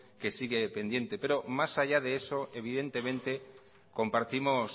que sigue pendiente pero más allá de eso evidentemente compartimos